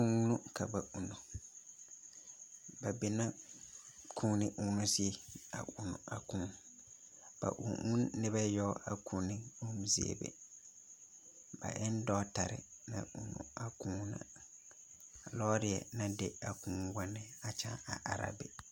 Kuu no ka ba uuno. Ba be na kuuni uuno zie a uuno a kuu. Ba uu uu ne noba yaga a kuuni uuno zie be. Ba en dɔɔtare na uuno a kuuna. Lɔrɛ na di a kuu wane a kyaa are are a be.